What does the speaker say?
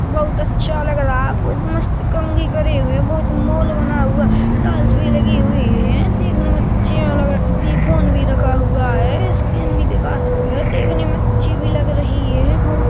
बहुत अच्छा लग रहा है बहुत मस्त कंघी करि हुई है बहुत मॉल बना हुआ टाइल्स भी लगी हुई है देखने में अच्छा लग रहा पि फ़ोन भी रखा हुआ है स्किन भी दिखा है देखने में अच्छी भी लग रही है बहुत--